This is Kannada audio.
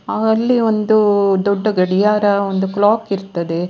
ಅಲ್ಲಿ ಒಂದು ದೊಡ್ಡ ಗಡಿಯಾರ ಒಂದು ಕ್ಲಾಕ್ ಇರ್ತಾದ್ದೆ.